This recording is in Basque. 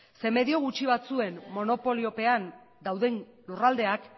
zeren medio gutxi batzuen monopoliopean dauden lurraldeak